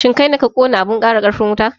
shin kaine ka kona abun ƙara ƙarfin wuta?